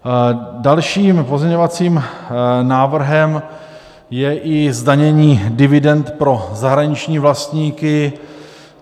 Dalším pozměňovacím návrhem je i zdanění dividend pro zahraniční vlastníky.